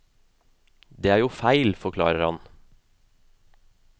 Det er jo feil, forklarer han.